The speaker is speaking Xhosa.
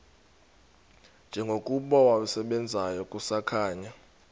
njengokuba wasebenzayo kusakhanya